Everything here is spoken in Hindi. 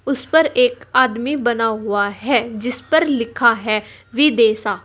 उस पर एक आदमी बना हुआ है जिस पर लिखा है विदेसा।